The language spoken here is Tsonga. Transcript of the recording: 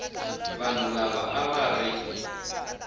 vanhu lava a va ri